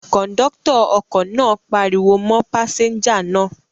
Kọ̀ńdọ́tọ̀ ọkọ náà pariwo mọ́ pásẹ́ńjà náà.